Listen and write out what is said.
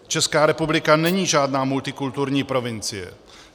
Česká republika není žádná multikulturní provincie.